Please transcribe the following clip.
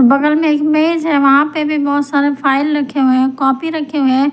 बगल में इमेज है वहां पे भी बहुत सारे फाइल रखे हुए हैं कॉपी रखे हुए हैं।